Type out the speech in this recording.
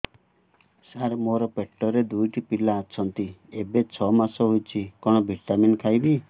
ସାର ମୋର ପେଟରେ ଦୁଇଟି ପିଲା ଅଛନ୍ତି ଏବେ ଛଅ ମାସ ହେଇଛି କଣ ଭିଟାମିନ ଖାଇବି